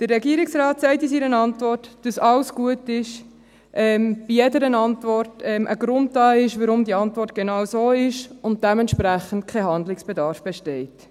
Der Regierungsrat sagt in seiner Antwort, dass alles gut sei, es bei jeder Antwort einen Grund gebe, warum die Antwort genau so ist, und dass dementsprechend kein Handlungsbedarf bestehe.